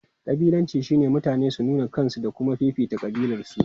Kabilanci shine mutane su nuna kansu da kuma fifita kabilarsu.